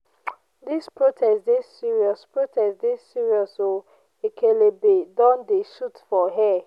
dis protest dey serious protest dey serious o ekelebe don dey shoot for air.